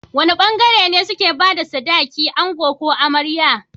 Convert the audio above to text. Wane bangare ne suke bada sadaki ango ko amarya?